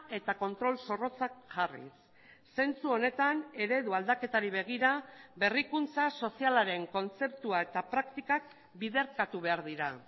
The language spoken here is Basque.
eta kontrol zorrotzak jarriz zentzu honetan eredu aldaketari begira berrikuntza sozialaren kontzeptua eta praktikak biderkatu behar dira